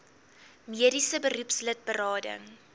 mediese beroepslid berading